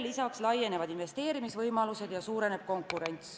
Lisaks laienevad investeerimisvõimalused ja suureneb konkurents.